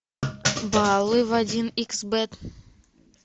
баллы в один икс бет